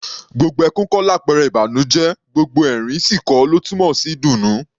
Gbogbo ẹkún kọ́ làpẹrẹ ìbànújẹ́; gbogbo ẹ̀rín sì kọ́ ló túmọ̀ sí ìdùnnú.